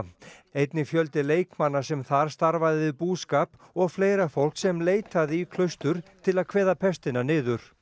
einnig fjöldi leikmanna sem þar starfaði við búskap og fleira og fólk sem leitaði í klaustur til að kveða pestina niður